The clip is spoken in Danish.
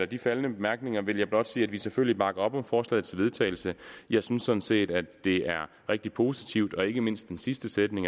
de faldne bemærkninger vil jeg blot sige at vi selvfølgelig bakker op om forslaget til vedtagelse jeg synes sådan set at det er rigtig positivt og ikke mindst den sidste sætning